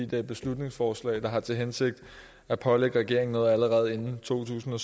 det er et beslutningsforslag der har til hensigt at pålægge regeringen noget allerede i to tusind og